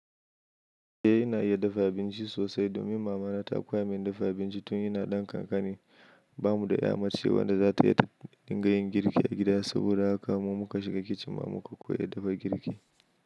Eh ina iya dafa abinci sosai domin mama na ta koya min dafa abinci tun ina ɗan kankani. Ba mu da ya mace wanda za ta yi ta dinga yin girki a gida saboda haka mu ma muka shiga kicin ma muka koya dafa girki.